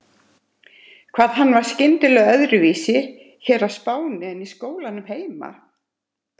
Hvað hann var skringilega öðruvísi hér á Spáni en í skólanum heima!